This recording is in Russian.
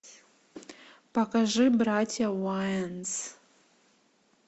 покажи братья уайанс